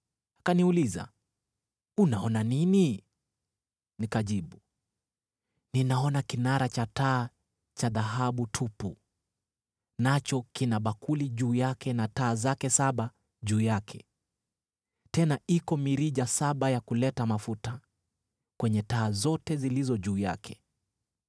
Akaniuliza, “Unaona nini?” Nikajibu, “Ninaona kinara cha taa cha dhahabu tupu, nacho kina bakuli juu yake na taa zake saba juu yake, tena iko mirija saba ya kuleta mafuta, kwenye taa zote zilizo juu yake.